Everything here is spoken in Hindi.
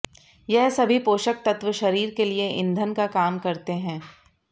यह सभी पोषक तत्त्व शरीर के लिए ईंधन का काम करते हैं